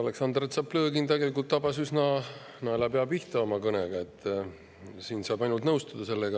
Aleksandr Tšaplõgin tabas üsna naelapea pihta oma kõnega, sellega saab ainult nõustuda.